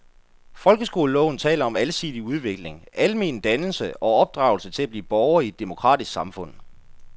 Folkeskoleloven taler om alsidig udvikling, almen dannelse og opdragelse til at blive borger i et demokratisk samfund.